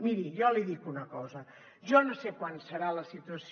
miri jo li dic una cosa jo no sé quan serà la situació